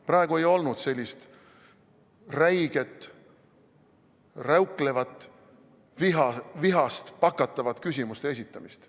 Praegu ei olnud sellist räiget, räuklevat, vihast pakatavat küsimuste esitamist.